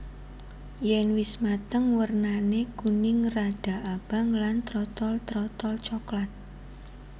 Yèn wis mateng wernané kuning rada abang lan trotol terotol coklat